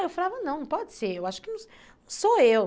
Eu falava, não, não pode ser, eu acho que não sou eu.